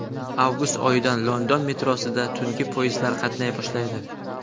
Avgust oyidan London metrosida tungi poyezdlar qatnay boshlaydi.